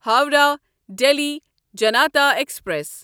Howrah Delhi Janta express